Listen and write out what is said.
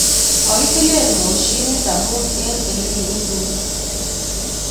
Mokitilen mosinit amun en kirutundo.